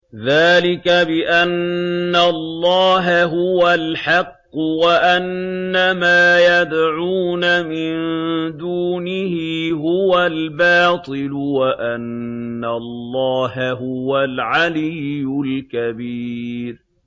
ذَٰلِكَ بِأَنَّ اللَّهَ هُوَ الْحَقُّ وَأَنَّ مَا يَدْعُونَ مِن دُونِهِ هُوَ الْبَاطِلُ وَأَنَّ اللَّهَ هُوَ الْعَلِيُّ الْكَبِيرُ